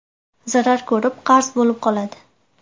Zarar ko‘rib, qarz bo‘lib qoladi.